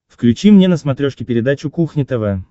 включи мне на смотрешке передачу кухня тв